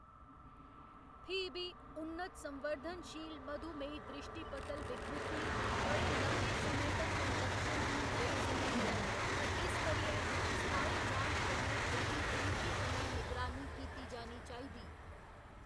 फ्ही बी, उन्नत संवर्धनशील मधुमेही द्रिश्टीपटल विकृति, बड़े लम्मे समें तक्कर लक्षणहीन रेही सकदी ऐ, ते इस करियै स्थायी जांच कन्नै एह्‌‌‌दी बरीकी कन्नै निगरानी कीती जानी चाहिदी।